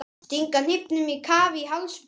Stinga hnífnum á kaf í háls Bretans.